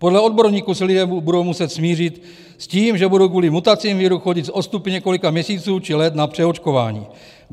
Podle odborníků se lidé budou muset smířit s tím, že budou kvůli mutacím viru chodit s odstupy několika měsíců či let na přeočkování.